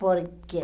Por quê?